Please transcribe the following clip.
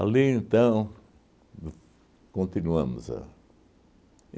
Ali, então, no continuamos a